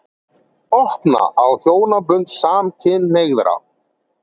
Opna á hjónabönd samkynhneigðra